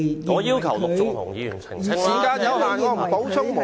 我要求陸頌雄議員澄清。